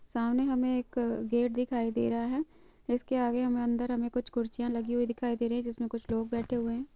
सामने हमे एक अ गेट दिखाई दे रहा है इसके आगे हमे अंदर हमे कुछ कुर्सियां लगी हुई दिखाई दे रही है जिसमे कुछ लोग बैठे हुए है|